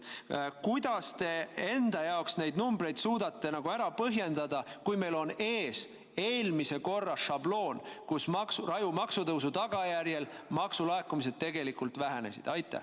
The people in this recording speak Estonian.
Kuidas te enda jaoks neid numbreid suudate ära põhjendada, kui meil on ees eelmise korra šabloon, kus raju maksutõusu tagajärjel maksulaekumised tegelikult vähenesid?